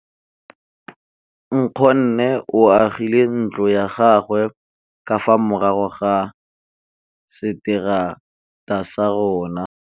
Nkgonne o agile ntlo ya gagwe ka fa morago ga seterata sa rona.